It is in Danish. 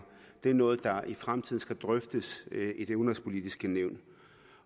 det er noget der i fremtiden skal drøftes i det udenrigspolitiske nævn